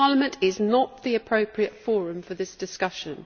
This Parliament is not the appropriate forum for this discussion.